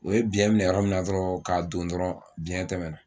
O ye biɲɛ minɛ yɔrɔ minna dɔrɔn k'a don dɔrɔn biɲɛ tɛmɛna